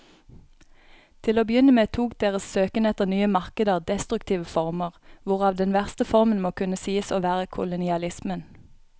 Til å begynne med tok deres søken etter nye markeder destruktive former, hvorav den verste formen må kunne sies å være kolonialismen.